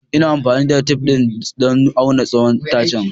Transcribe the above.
Ina amfani da tef ɗin don auna tsawon itacen.